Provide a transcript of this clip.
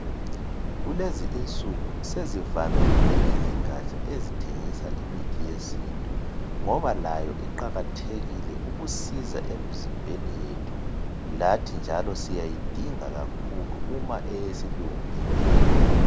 Kulezinsuku sezivamile izingatsha ezithengisa imithi yesintu ngoba layo iqakathekile ukusiza emizimbeni yethu lathi njalo siyayidinga kakhulu uma eyesilungu ingekho.